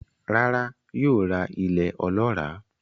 Rárá, yóò ra ilẹ̀ olọ́ràá